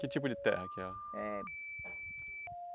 Que tipo de terra que é? Eh